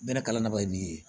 Bɛlɛ kalan na ba ye min ye